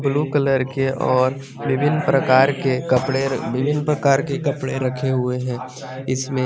blue colour के और विभिन्न प्रकार के कपड़े रखे हुए है इसमें --